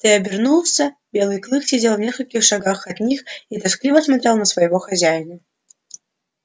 я обернулся белый клык сидел в нескольких шагах от них и тоскливо смотрел на своего хозяина